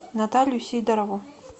наталью сидорову